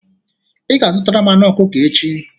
Ị ga-azụtara m anụ ọkụkọ echi.